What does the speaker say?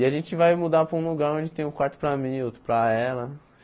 E a gente vai mudar para um lugar onde tem um quarto para mim e outro para ela.